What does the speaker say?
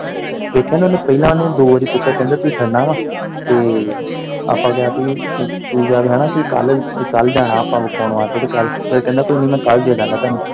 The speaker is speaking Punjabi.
ਦੇਖਿਆ ਨਾ ਓਨੇ ਪਹਿਲਾਂ ਓਨੇ ਦੋ ਵਾਰੀ ਪੁੱਛਿਆ ਕਿ ਤੁਹੀਂ ਖੜਨਾ ਵਾ ਤੇ ਆਪਾਂ ਕਿਹਾ ਭੀ ਤੂੰ ਕੀ ਕੱਲ, ਕੀ ਕੱਲ, ਕੱਲ ਜਾਣਾ ਆਪਾਂ ਵਿਖਾਉਣ ਵਾਸਤੇ ਤੇ ਕੱਲ ਫਿਰ ਕਹਿੰਦਾ ਕੋਈ ਨੀ ਮੈਂ ਦੇਦਾਂਗਾ ਤੁਹਾਨੂੰ।